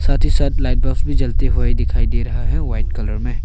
साथ ही साथ लाइट बफ भी जलते हुए दिखाई दे रहा है वाइट कलर में।